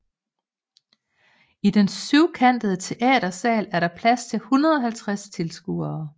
I den syvkantede teatersal er der plads til 150 tilskuere